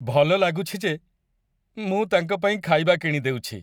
ଭଲ ଲାଗୁଛି ଯେ ମୁଁ ତାଙ୍କ ପାଇଁ ଖାଇବା କିଣିଦେଉଛି।